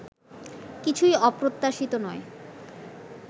কিছুই অপ্রত্যাশিত নয়